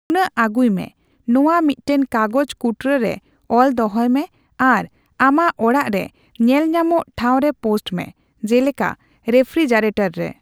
ᱱᱩᱱᱟᱹᱜ ᱟᱜᱩᱭ ᱢᱮ, ᱱᱚᱣᱟ ᱢᱤᱫᱴᱟᱝ ᱠᱟᱜᱚᱡᱽ ᱠᱩᱴᱨᱟᱹ ᱨᱮ ᱚᱞ ᱫᱚᱦᱚᱭ ᱢᱮ ᱟᱨ ᱟᱢᱟᱜ ᱚᱲᱟᱜ ᱨᱮ ᱧᱮᱞᱧᱟᱢᱚᱜ ᱴᱷᱟᱣ ᱨᱮ ᱯᱳᱥᱴ ᱢᱮ, ᱡᱮᱞᱮᱠᱟ ᱨᱮᱯᱷᱯᱷᱨᱤᱡᱟᱨᱮᱹᱴᱚᱨ ᱨᱮ ᱾